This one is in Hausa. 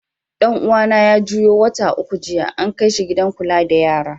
Dan uwa na ya juyo wata uku jiya, an kai shi gidan Kulla da yara.